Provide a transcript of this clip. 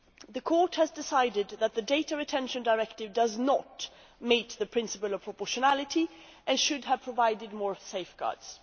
The Court has decided that the Data Retention Directive does not meet the principle of proportionality and should have provided more safeguards.